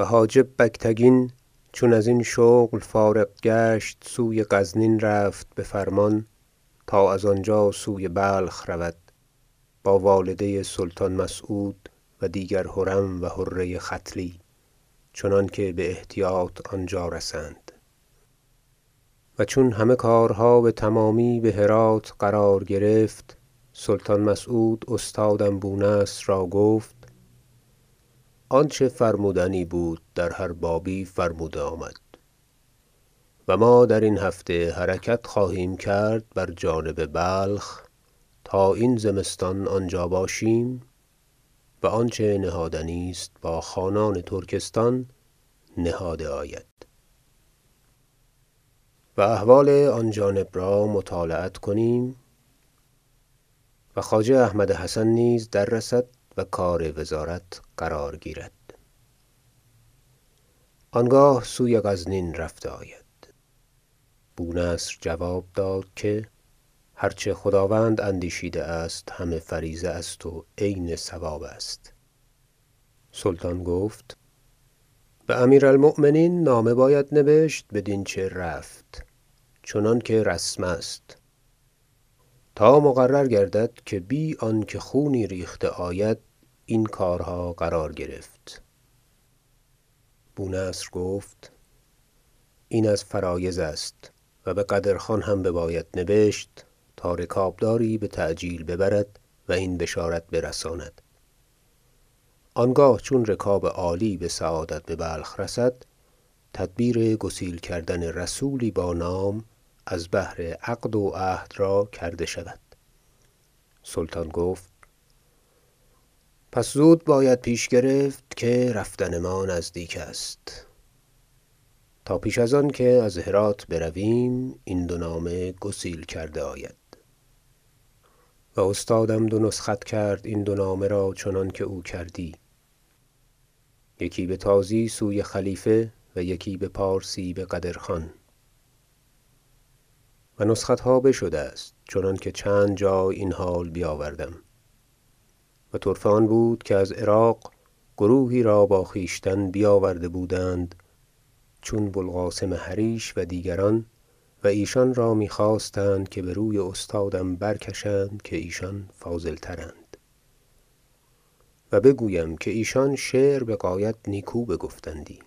و حاجب بگتگین چون ازین شغل فارغ گشت سوی غزنین رفت به فرمان تا از آنجا سوی بلخ رود با والده سلطان مسعود و دیگر حرم و حره ختلی چنانکه به احتیاط آنجا رسند و چون همه کارها به تمامی به هرات قرار گرفت سلطان مسعود استادم بو نصر را گفت آنچه فرمودنی بود در هر بابی فرموده آمد و ما درین هفته حرکت خواهیم کرد بر جانب بلخ تا این زمستان آنجا باشیم و آنچه نهادنی است با خانان ترکستان نهاده آید و احوال آن جانب را مطالعت کنیم و خواجه احمد حسن نیز دررسد و کار وزارت قرار گیرد آنگاه سوی غزنین رفته آید بو نصر جواب داد که هرچه خداوند اندیشیده است همه فریضه است و عین صواب است سلطان گفت به امیر المؤمنین نامه باید نبشت بدین چه رفت چنانکه رسم است تا مقرر گردد که بی آنکه خونی ریخته آید این کارها قرار گرفت بونصر گفت این از فرایض است و به قدر خان هم بباید نبشت تا رکابداری به تعجیل ببرد و این بشارت برساند آنگاه چون رکاب عالی به سعادت به بلخ رسد تدبیر گسیل کردن رسولی با نام از بهر عقد و عهد را کرده شود سلطان گفت پس زود باید پیش گرفت که رفتن ما نزدیک است تا پیش از آنکه از هرات برویم این دو نامه گسیل کرده آید و استادم دو نسخت کرد این دو نامه را چنانکه او کردی یکی به تازی سوی خلیفه و یکی بپارسی به قدر خان و نسختها بشده است چنانکه چند جای این حال بیاوردم و طرفه آن بود که از عراق گروهی را با خویشتن بیاورده بودند چون بو القاسم حریش و دیگران و ایشان را می خواستند که بر وی استادم برکشند که ایشان فاضل تراند و بگویم که ایشان شعر به غایت نیکو بگفتندی